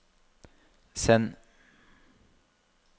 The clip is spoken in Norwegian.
send